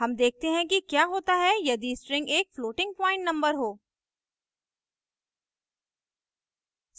अब देखते हैं कि क्या होता है यदि string एक floating point number हों